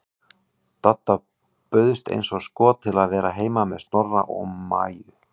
Dadda bauðst eins og skot til að vera heima með Snorra og Maju.